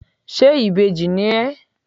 ṣe ìbejí ní ẹ